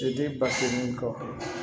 Se di basigi min kɔ